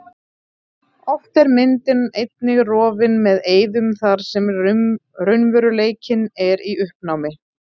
Oft er myndin einnig rofin með eyðum þar sem raunveruleikinn er í uppnámi.